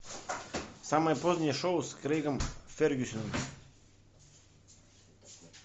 самое позднее шоу с крэйгом фергюсоном